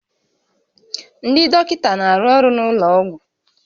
Ndị dọkịta na-arụ ọrụ n'ụlọ ọgwụ